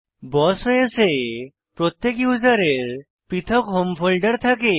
বস OS এ প্রত্যেক ইউসারের পৃথক হোম ফোল্ডার থাকে